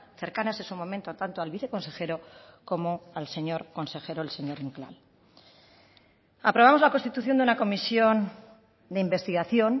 cercanas en su momento tanto al viceconsejero como al señor consejero el señor inclán aprobamos la constitución de una comisión de investigación